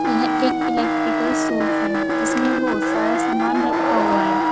यह एक electrical shop है जिसमें बहोत सारा सामान रखा हुआ है।